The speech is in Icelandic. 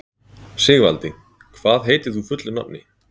Sigvaldi, hvað heitir þú fullu nafni?